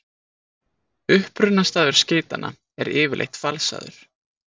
Upprunastaður skeytanna er yfirleitt falsaður.